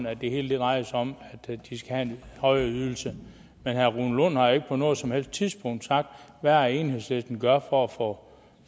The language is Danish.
at det hele drejer sig om at de skal have en højere ydelse men herre rune lund har ikke på noget som helst tidspunkt sagt hvad enhedslisten gør for at få